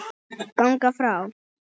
ganga frá